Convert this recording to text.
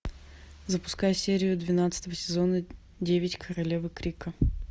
запускай серию двенадцатого сезона девять королевы крика